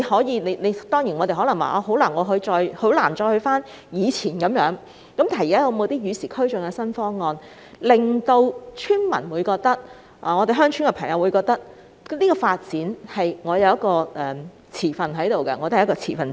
現在可能很難一如以往般處理，但可有與時俱進的新方案，令村民或居住在鄉村的人士認為自己也是發展方案的持份者？